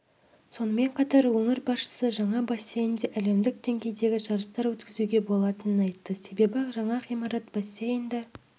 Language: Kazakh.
сонымен қатар өңір басшысы жаңа бассейнде әлемдік деңгейдегі жарыстар өткізуге болатынын айтты себебі жаңа ғимарат бассейнді